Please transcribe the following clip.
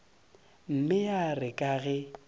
mme ya re ka ge